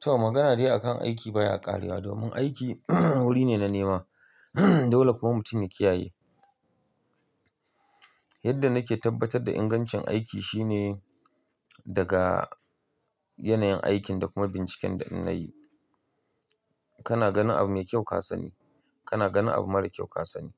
Toh magana dai akan aiki baya ƙarewa. Domin aiki wuri ne na nema dole kuma mutum ya kiyaye. Yadda nake tabbatar da ingancin aiki shine daga yanayin aikin da kuma binciken da innayi. Kana ganin abu mai kyau ka sani, kana ganin abu mara kyau ka sani,